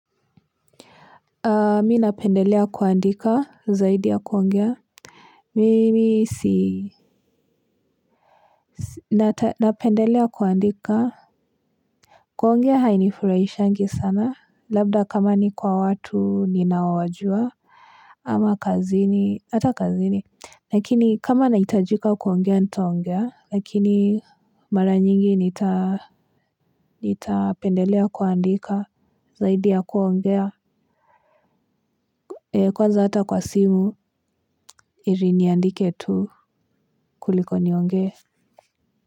Mi napendelea kuandika zaidi ya kuongea mimi si napendelea kuandika. Kuongea hainifurahishangi sana labda kama ni kwa watu ninaowajua ama kazini hata kazini. Lakini kama nahitajika kuongea nitaongea lakini mara nyingi nita nitapendelea kuandika zaidi ya kuongea kwanza ata kwa simu heri niandike tu kuliko nionge.